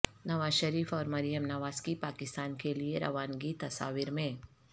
نواز شریف اور مریم نواز کی پاکستان کے لیے روانگی تصاویر میں